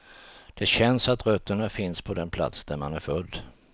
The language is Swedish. Det känns att rötterna finns på den plats, där man är född.